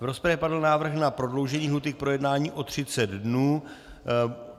V rozpravě padl návrh na prodloužení lhůty k projednání o 30 dnů.